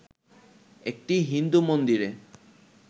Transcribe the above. একটি হিন্দু মন্দিরে